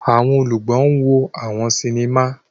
Awọn olùgbọ wo àwọn sinima.